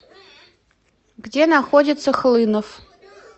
где находится хлынов